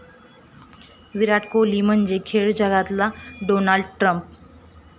विराट कोहली म्हणजे खेळ जगतातला डोनाल्ड ट्रम्प'